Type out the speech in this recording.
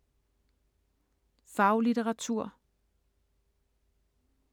Faglitteratur